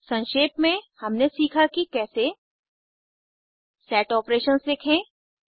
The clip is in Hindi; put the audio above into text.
संक्षेप में हमने सीखा कि कैसे सेट आपरेशंस लिखें